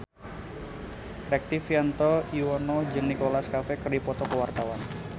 Rektivianto Yoewono jeung Nicholas Cafe keur dipoto ku wartawan